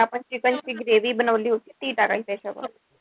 जी आपण chicken ची जी gravy बनवली होती ती टाकायची त्याच्यावर.